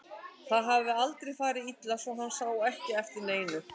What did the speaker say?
En það hafði aldrei farið illa svo hann sá ekki eftir neinu.